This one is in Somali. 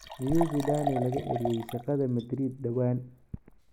Miyuu Zidane laga eryay shaqada Maradreed dhawaan?